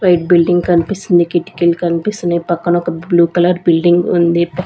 White building కనిపిస్తుంది కిటికీలు కనిపిస్తున్నాయి పక్కన ఒక బ్లూ కలర్ బిల్డింగ్ ఉంది.